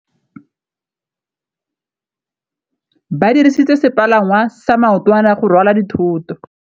Ba dirisitse sepalangwasa maotwana go rwala dithôtô.